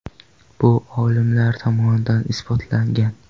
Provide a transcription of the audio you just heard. Bu olimlar tomonidan isbotlangan.